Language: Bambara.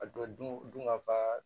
A don dun dun ka fa